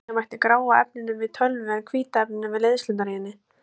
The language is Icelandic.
Líkja mætti gráa efninu við tölvu en hvíta efninu við leiðslurnar í henni.